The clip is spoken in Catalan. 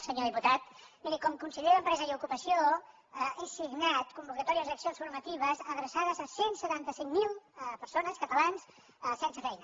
senyor diputat miri com a conseller d’empresa i ocupació he signat convocatòries d’accions formatives adreçades a cent i setanta cinc mil persones catalans sense feina